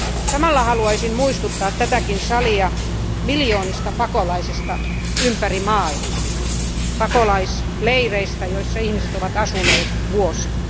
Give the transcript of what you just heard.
Samalla haluaisin muistuttaa tätäkin salia miljoonista pakolaisista ympäri maailmaa, pakolaisleireistä, joissa ihmiset ovat asuneet vuosia.